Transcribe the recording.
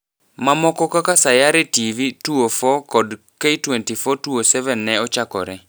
Mamoko kaka Sayare TV(2004) kod K24(2007) ne ochakore.